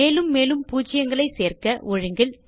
மேலும் மேலும் பூஜ்யங்களை சேர்க்க ஒழுங்கில்